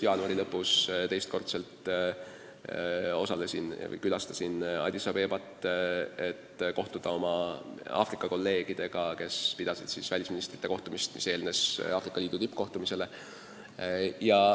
Jaanuari lõpus ma külastasin teist korda Addis Abebat, et kohtuda oma Aafrika kolleegidega, kes pidasid seal välisministrite kohtumist, mis eelnes Aafrika Liidu tippkohtumisele.